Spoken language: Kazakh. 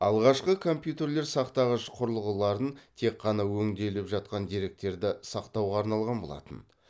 алғашқы компьютерлер сақтағыш құрылғыларын тек қана өңделіп жатқан деректерді сақтауға арналған болатын